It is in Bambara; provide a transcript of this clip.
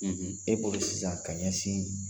E bolo sisan ka ɲɛsin